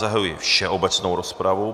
Zahajuji všeobecnou rozpravu.